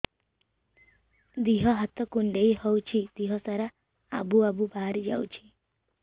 ଦିହ ହାତ କୁଣ୍ଡେଇ ହଉଛି ଦିହ ସାରା ଆବୁ ଆବୁ ବାହାରି ଯାଉଛି